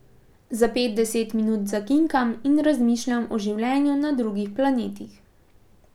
Za pet, deset minut zakinkam in razmišljam o življenju na drugih planetih.